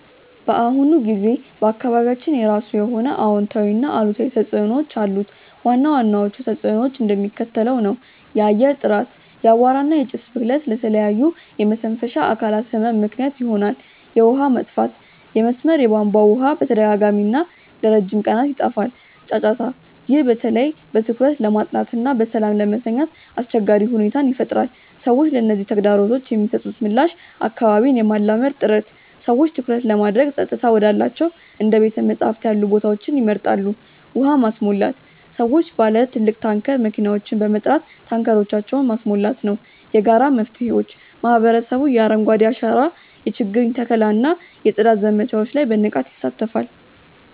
በአሁኑ ጊዜ በአካባቢያችን የራሱ የሆነ አዎንታዊና አሉታዊ ተጽዕኖዎች አሉት። ዋና ዋናዎቹ ተጽዕኖዎች እንደሚከተለው ነው፦ የአየር ጥራት፦ የአቧራ እና የጭስ ብክለት ለተለያዩ የመተንፈሻ አካላት ህመም ምክንያት ይሆናል። የውሃ መጥፋት፦ የመስመር የቧንቧ ውሃ በተደጋጋሚና ለረጅም ቀናት ይጠፋል። ጫጫታ፦ ይህ በተለይ በትኩረት ለማጥናትና በሰላም ለመተኛት አስቸጋሪ ሁኔታን ይፈጥራል። ሰዎች ለነዚህ ተግዳሮቶች የሚሰጡት ምላሽ አካባቢን የማላመድ ጥረት፦ ሰዎች ትኩረት ለማድረግ ጸጥታ ወዳላቸው እንደ ቤተ-መጻሕፍት ያሉ ቦታዎችን ይመርጣሉ። ውሃ ማስሞላት፦ ሰዎች ባለ ትልቅ ታንከር መኪናዎችን በመጥራት ታንከሮቻቸውን ማስሞላት ነው። የጋራ መፍትሄዎች፦ ማህበረሰቡ የአረንጓዴ አሻራ የችግኝ ተከላ እና የጽዳት ዘመቻዎች ላይ በንቃት ይሳተፋል።